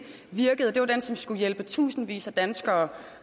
virkede og det var den som skulle hjælpe tusindvis af danskere